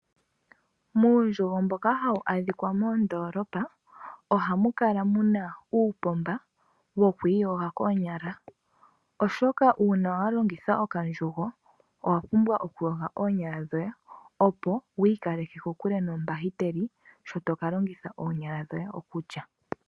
Muundjugo womoondolopa ohamu adhika uupomba mboka uushona. Ohawu longithwa konima yokolongitha okandjugo opo aantu yiiyoge koonyala omanga inaya zamo. Ohashi kaleke kokule oongaga.